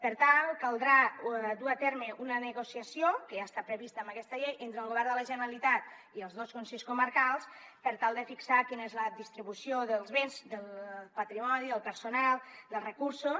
per tant caldrà dur a terme una negociació que ja està prevista en aquesta llei entre el govern de la generalitat i els dos consells comarcals per tal de fixar quina és la distribució dels béns del patrimoni del personal dels recursos